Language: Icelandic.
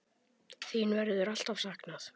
Þín verður alltaf saknað.